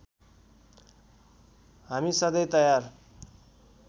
हामी सधैँ तयार